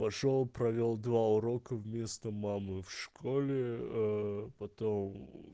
пошёл провёл два урока вместо мамы в школе потом